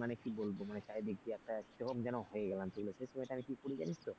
মানে কি বলব মানে চারিদিক দিয়ে একটা কি রকম যেন হয়ে গেলাম তাহলে শেষমেষ আমি কি করি জানিস তো,